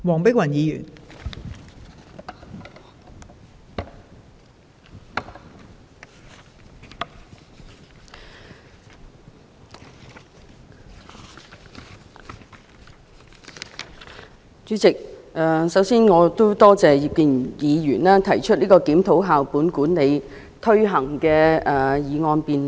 代理主席，我首先感謝葉建源議員動議這項"檢討校本管理的推行"議案的辯論。